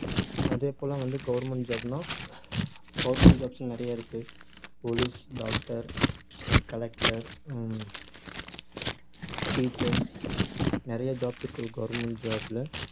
அதே போல வந்து government job ன்னா government jobs உம் நிறைய இருக்கு police, doctor அஹ் collector உம் teachers நிறைய jobs இருக்கு government job ல